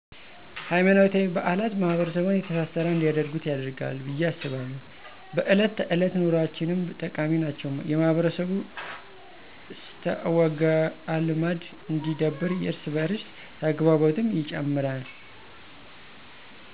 ሀይማኖታዊ በአላት ማሕበረሰቡን የተሳሰረ እንዲያደርጉት ያደርጋል ብየ አስባለሁ። በእለት ተዕለት ኑኖአችንም ጠቃሚ ናቸው የማህበረሰቡ እስትዐወግዐልማድ እንዲዳብር የእርስ በዕርስ ተግባቦትንም ይጨምራል።